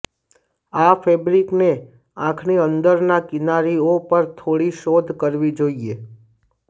આ ફેબ્રિકને આંખની અંદરના કિનારીઓ પર થોડી શોધ કરવી જોઈએ